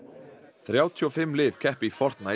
þrjátíu og fimm lið keppa í